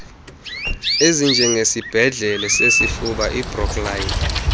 ezinjengesibhedlele sesifuba ibrooklyn